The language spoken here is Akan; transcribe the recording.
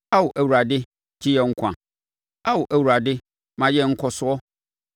Ao Awurade, gye yɛn nkwa; Ao Awurade, ma yɛn nkɔsoɔ.